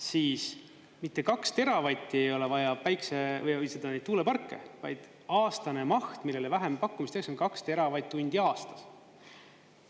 Siis, mitte 2 teravatti ei ole vaja tuuleparke, vaid aastane maht, millele vähempakkumisi tehakse, on 2 teravatt-tundi aastas.